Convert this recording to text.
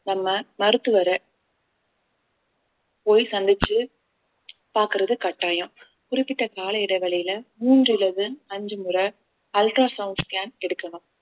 நம்ம மருத்துவர போய் சந்திச்சு பாக்குறது கட்டாயம் குறிப்பிட்ட கால இடைவெளியில மூன்று அல்லது அஞ்சு முறை ultra sound scan எடுக்கணும்